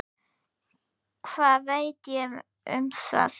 Hvað veit ég um það?